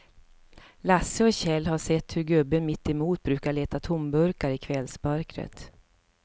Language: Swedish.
Lasse och Kjell har sett hur gubben mittemot brukar leta tomburkar i kvällsmörkret.